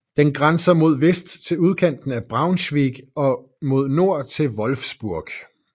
Den grænser mod vest til udkanten af Braunschweig og mod nord til Wolfsburg